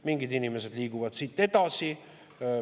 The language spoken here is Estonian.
Mingid inimesed liiguvad siit edasi.